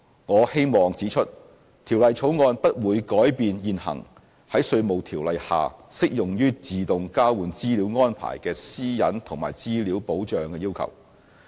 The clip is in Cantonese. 我希望指出，《條例草案》不會改變現行在《稅務條例》下適用於自動交換資料安排的私隱及資料保障要求。